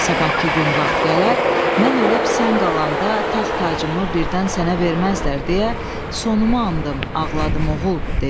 Sabahkı gün vaxt gələr, mən ölüb sən qalanda taxt tacımı birdən sənə verməzlər deyə sonumu andım, ağladım oğul, dedi.